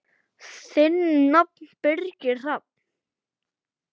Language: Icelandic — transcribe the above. Þinn nafni, Birgir Hrafn.